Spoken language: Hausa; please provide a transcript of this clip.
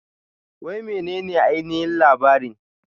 Wai menene ainihin labarin?